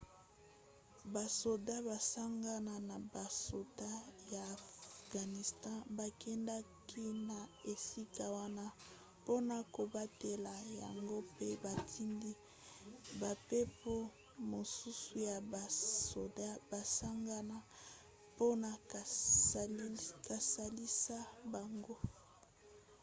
basoda basangana na basoda ya afghanistan bakendaki na esika wana mpona kobatela yango mpe batindi bampepo mosusu ya basoda basangana mpona kosalisa bango